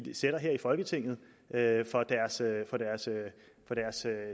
folketinget for deres